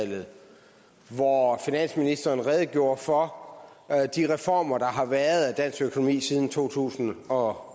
og hvori finansministeren redegjorde for de reformer der har været af dansk økonomi siden to tusind og